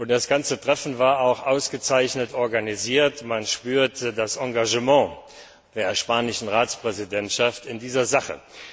Das ganze Treffen war auch ausgezeichnet organisiert, man spürte das Engagement der spanischen Ratspräsidentschaft in dieser Sache.